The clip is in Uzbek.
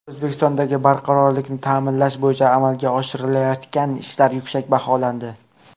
O‘zbekistondagi barqarorlikni ta’minlash bo‘yicha amalga oshirilayotgan ishlar yuksak baholandi.